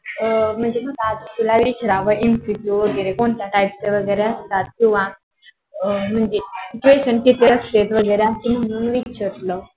अं म्हणजे अस तुला विचारावं MCQ वैगेरे कोणत्या type चे वगैरे असतात. किंवा अं विचारलं.